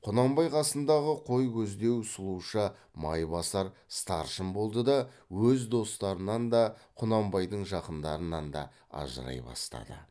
құнанбай қасындағы қой көздеу сұлуша майбасар старшын болды да өз достарынан да құнанбайдың жақындарынан да ажырай бастады